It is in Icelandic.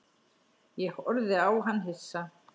Ég horfði á hann hissa.